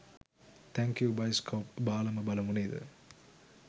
thank you bioscope බාලම බලමු නේද